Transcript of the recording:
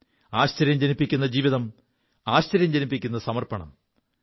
ആശ്ചര്യം ജനിപ്പിക്കു ജീവിതം ആശ്ചര്യം ജനിപ്പിക്കു സമർപ്പണം